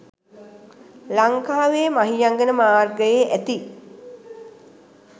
ලංකාවේ මහියංගන මාර්ගයේ ඇති